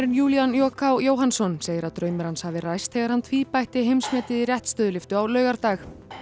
Júlían j k Jóhannsson segir að draumur hans hafi ræst þegar hann tvíbætti heimsmetið í réttstöðulyftu á laugardag